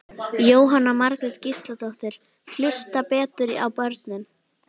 Jóhanna Margrét Gísladóttir: Hlusta betur á börnin?